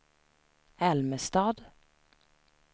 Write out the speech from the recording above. Älmestad